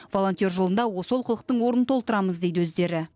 волонтер жылында осы олқылықтың орнын толтырамыз дейді өздері